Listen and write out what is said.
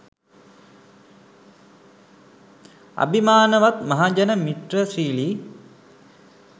"අබිමානවත් මහජන මිත්‍ර ශීලී